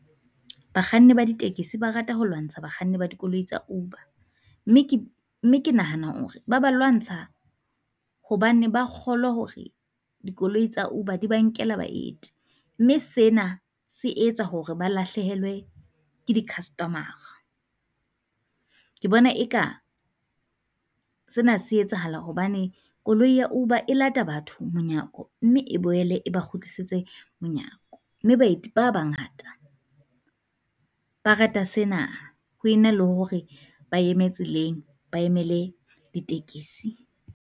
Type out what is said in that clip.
Bakganni ba di tekesi ba rata ho lwantsha bakganni ba dikoloi tsa Uber, mme ke nahana hore ba ba lwantsha hobane ba kgolwa hore dikoloi tsa Uber di ba nkela baeti, mme sena se etsa hore ba lahlehelwe ke di customer-ra. Ke bona e ka sena se etsahala hobane koloi ya hoba e lata batho monyako, mme e boele e ba kgutlisetse monyako. Mme baeti ba bangata ba rata sena ho e na le hore ba eme tseleng ba emele ditekesi.